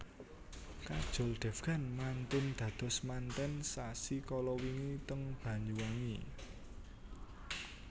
Kajol Devgan mantun dados manten sasi kalawingi teng Banyuwangi